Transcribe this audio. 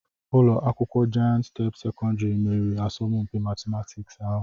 Ụlọ akwụkwọ Jayent step sekọndrị meriri asọmpi matịmatịks ahụ